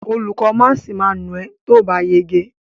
Olùkó máàsì ma nà ẹ́ tóòbá yege.